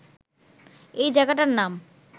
এই জায়গাটার নাম